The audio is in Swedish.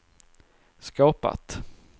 skapat